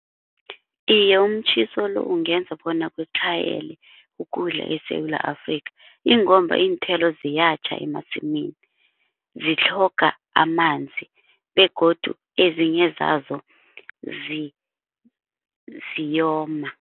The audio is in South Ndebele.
Iye umtjhiso lo ungenza bona kutlhayele ukudla eSewula Afrikha ingomba iinthelo ziyatjha emasimini zitlhoga amanzi begodu ezinye zazo ziyoma.